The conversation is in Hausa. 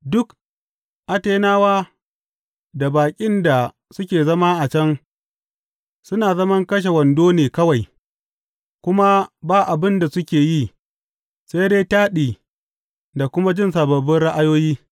Duk Atenawa da baƙin da suke zama a can suna zaman kashe wando ne kawai kuma ba abin da suke yi sai dai taɗi da kuma jin sababbin ra’ayoyi.